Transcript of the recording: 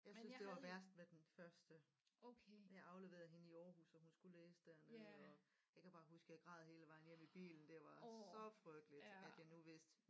Jeg synes det var værst med den første jeg afleverede hende i Aarhus og hun skulle læse dernede og jeg kan bare huske jeg græd hele vejen hjem i bilen det var så frygteligt at jeg nu vidste